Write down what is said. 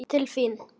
Til þín.